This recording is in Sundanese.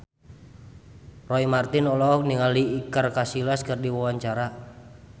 Roy Marten olohok ningali Iker Casillas keur diwawancara